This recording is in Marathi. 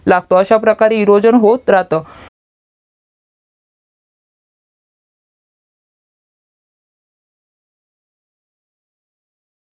लागतो अश्या प्रकारे इरोजन होत राहतं